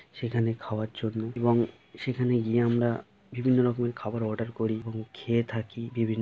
সেখানে খাওয়ার জন্য এবং সেখানে গিয়ে আমরা বিভিন্ন রকমের খাওয়ার অর্ডার করি এবং খেয়ে থাকি বিভিন্ন-- ।